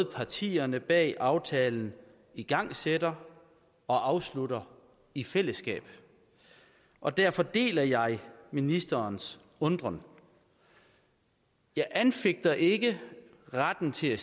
partierne bag aftalen igangsætter og afslutter i fællesskab og derfor deler jeg ministerens undren jeg anfægter ikke retten til at